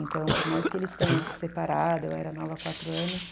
Então, por mais que eles tenham se separado, eu era nova há quatro anos.